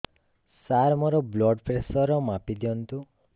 ସାର ମୋର blood pressure ମାପି ଦିଅନ୍ତୁ